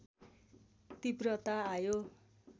तीव्रता आयो